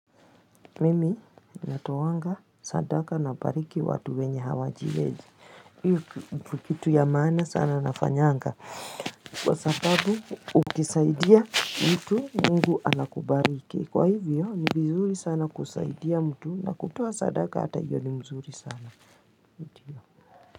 Mimi natoanga sadaka nabariki watu wenye hawajiwezi hio ndio kitu ya maana sana nafanyanga Kwa sababu ukisaidia mtu mungu anakubariki kwa hivyo ni vizuri sana kusaidia mtu na kutoa sadaka hata hiyo ni mzuri sana.